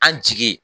An jigi